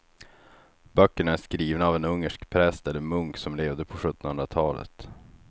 Böckerna är skrivna av en ungersk präst eller munk som levde på sjuttonhundratalet.